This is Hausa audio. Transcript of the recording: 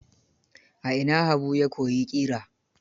A ina Habu ya koyi ƙira?